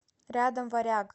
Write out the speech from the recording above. рядом варяг